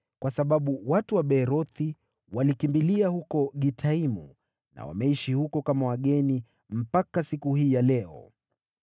kwa sababu watu wa Beerothi walikimbilia huko Gitaimu na wameishi huko kama wageni mpaka siku hii ya leo.